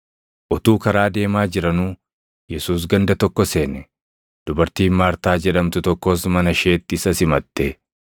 Utuu karaa deemaa jiranuu Yesuus ganda tokko seene; dubartiin Maartaa jedhamtu tokkos mana isheetti isa simatte.